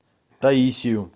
таисию